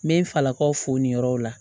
N bɛ n falakaw fo nin yɔrɔ la